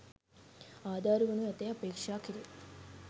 ආධාර වනු ඇතැයි අපේක්ෂාකෙරේ